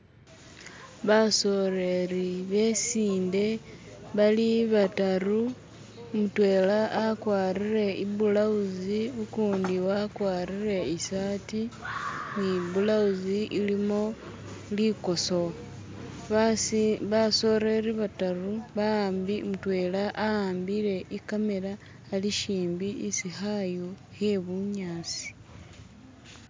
Basololi besinde bali badatu, mudwena agwatile ibulawuzi gundi agwatile isati nibulawuzi ilimo likoso. Basi.. basololi badatu mudwena awambile ikamela ali kumpi isi kayu ke bunyasi.